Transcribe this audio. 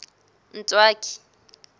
ntswaki